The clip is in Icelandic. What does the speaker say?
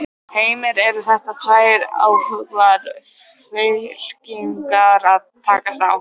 Heimir: Eru þetta tvær öflugar fylkingar að takast á?